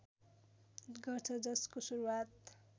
गर्छ जसको सुरुवात